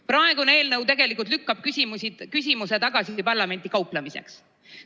Praegune eelnõu lükkab küsimuse tagasi parlamenti kauplemiseks.